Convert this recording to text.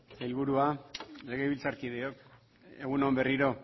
sailburuak legebiltzarkideok egun on berriro